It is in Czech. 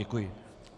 Děkuji.